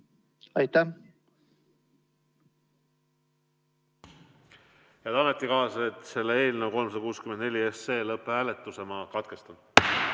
Head ametikaaslased, ma eelnõu 364 lõpphääletuse katkestan.